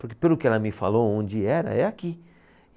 Porque pelo que ela me falou onde era, é aqui.